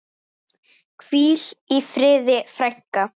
Hvíl í friði, frænka.